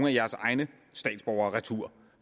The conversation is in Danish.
af jeres egne statsborgere retur